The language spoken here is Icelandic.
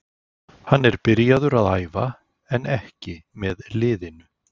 Hann er byrjaður að æfa en ekki með liðinu.